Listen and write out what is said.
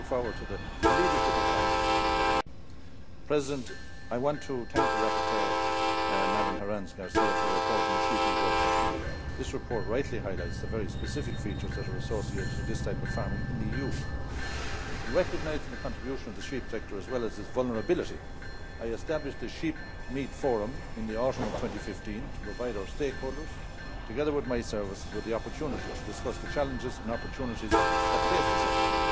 I look forward to the leadership of France in this regard. Mr President, I want to thank the rapporteur, Ms Herranz García, for her report on the sheep and goat sector. This report rightly highlights the very specific features that are associated with this type of farming in the EU. Recognising the contribution of the sheep sector as well as its vulnerability, I established a sheepmeat forum in the autumn of 2015 to provide our stakeholders, together with my services, with the opportunity to discuss the challenges and opportunities that face the sector.